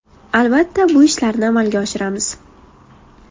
Albatta, bu ishlarni amalga oshiramiz.